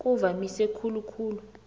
kuvamise khulu khulu